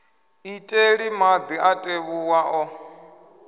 iteli madi a tevhuwa o